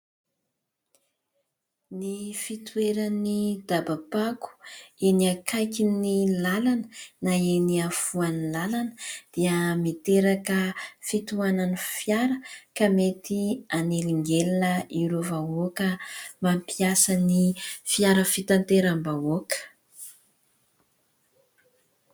Ny fitoeran'ny dabampako eny akaikin'ny lalana na eny afovoan'ny lalana dia miteraka fitohanan'ny fiara ka mety hanelingelina ireo vahoaka mampiasa ny fiara fitateram-bahoaka.